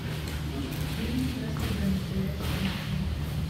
фильм тесты для настоящих мужчин